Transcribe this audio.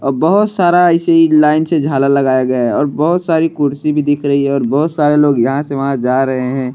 और बहुत सारा ऐसे ही लाइन से झालर लगाया गया है और बहुत सारी कुर्सी भी दिख रही है और बहुत सारे लोग यहाँ से वहाँ जा रहे हैं।